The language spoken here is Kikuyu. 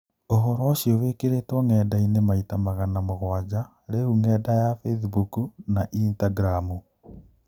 " ũhoro ũcio wĩkĩrĩtwo ng'endainĩ maita magana mũgwanja rĩũ ng'enda ya Bĩthbook na Ithtagramu.